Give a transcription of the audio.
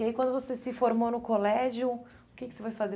E aí quando você se formou no colégio, o que que você foi fazer?